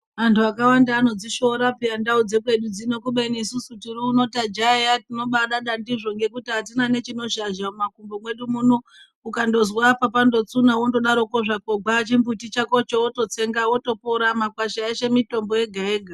Antu akawanda anodzishora peya ndau dzekwedu dzino kubeni isusu tiriuno tajaiya tinodada ndizvo nekuti hatina nechinozhazha mumakumbo mwedu muno. Ukandozwa apa pandotsuna vondodaroko gwaa chimbuti chakocho vototsenga votopora makwasha eshe mitombo yega-yega.